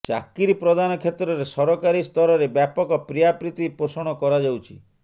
ଚାକିରି ପ୍ରଦାନ କ୍ଷେତ୍ରରେ ସରକାରୀ ସ୍ତରରେ ବ୍ୟାପକ ପ୍ରିୟାପ୍ରୀତି ପୋଷଣ କରାଯାଉଛି